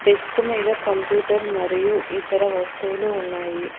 Desk మీద computer మరియు ఇతర వస్తువులు ఉన్నాయి.